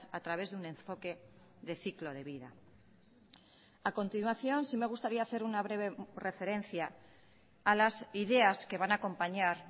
a través de un enfoque de ciclo de vida a continuación sí me gustaría hacer una breve referencia a las ideas que van a acompañar